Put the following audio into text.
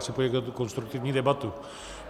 Chci poděkovat za konstruktivní debatu.